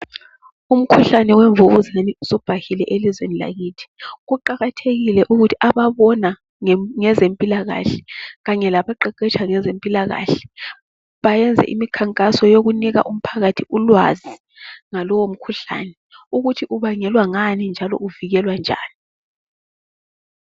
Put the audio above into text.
Umkhuhlane wemvukuzane usubhahile elizweni lakithi. Kuqakathekile ukuthi ababona ngezempilakahle kanye labaqeqetsha ngezempilakahle bayenze imikhankaso yokunika umphakathi ulwazi ngalowo mkhuhlane ukuthi ubangelwa ngani njalo uvikelwa njani.